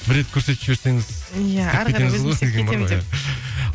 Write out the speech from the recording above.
бір рет көрсетіп жіберсеңіз иә әрі қарай